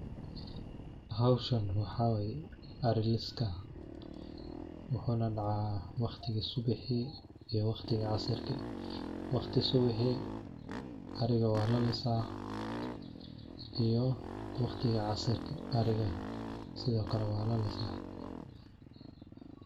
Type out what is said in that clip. Howshan waxaa way ari liska. Wuxu na dacaah waqtigi subixi iyo waqtigi casirki . Waqti subixi ariga walalisaah iyo waqtiga casirki ariga sidhokale walalisaah.